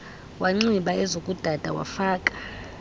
wanxiba ezokudada wafaka